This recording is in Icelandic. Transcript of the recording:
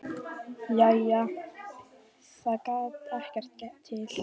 Jæja, það gerði þá ekkert til.